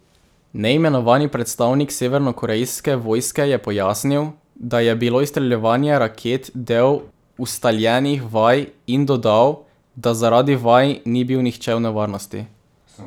Neimenovani predstavnik severnokorejske vojske je pojasnil, da je bilo izstreljevanje raket del ustaljenih vaj in dodal, da zaradi vaj ni bil nihče v nevarnosti.